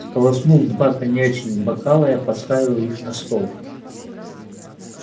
сполоснув два коньячных бокала я поставил их на стол